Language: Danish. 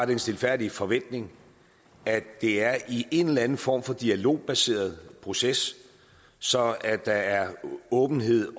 den stilfærdige forventning at det er i en eller anden form for dialogbaseret proces så der er åbenhed